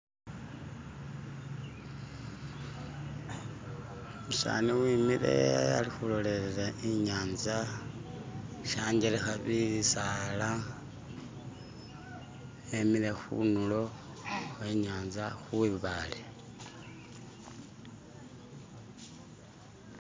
Umusani wimile alikhulolelela inyaza shanjeleha bisaala emile khundulo khwenyanza khwibaale